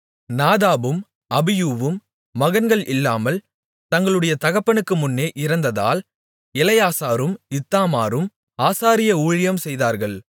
நாதாபும் அபியூவும் மகன்கள் இல்லாமல் தங்களுடைய தகப்பனுக்கு முன்னே இறந்ததால் எலெயாசாரும் இத்தாமாரும் ஆசாரிய ஊழியம் செய்தார்கள்